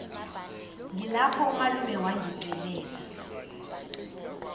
ngilapho umalume wangicelela